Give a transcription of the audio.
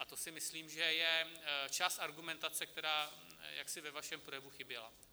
A to si myslím, že je část argumentace, která jaksi ve vašem projevu chyběla.